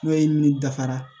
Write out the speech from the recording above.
Kulɔye ni dafara